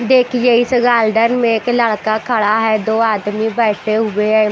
देखिए इस गार्डन मे एक लड़का खड़ा है दो आदमी बैठे हुए हैं।